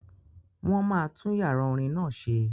Wọ́n máa tún yàrá orin náà ṣe